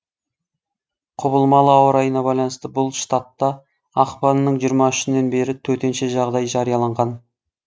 құбылмалы ауа райына байланысты бұл штатта ақпанның жиырма үшінен бері төтенше жағдай жарияланған